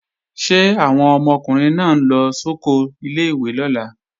Ṣé àwọn ọmọkùnrin náà ń lọ sóko ilé-ìwé lọ́la?